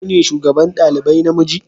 Kai ne shugaban dalibai na miji?